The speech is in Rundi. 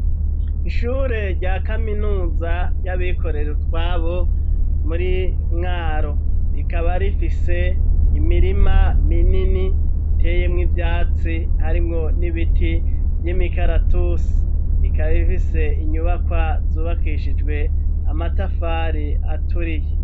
Ishure rya kaminuza ry'abikorero twabo muri mwaro rikaba rifise imirima minini iteyemwo ivyatsi harimwo n'ibiti vy'imikaratusi rikaba rifise inyubakwa zubakishijwe amatafari aturiye.